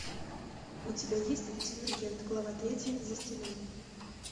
у тебя есть дивергент глава третья за стеной